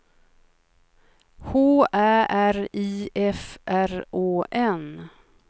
H Ä R I F R Å N